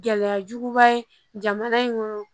Gɛlɛyajuguba ye jamana in kɔnɔ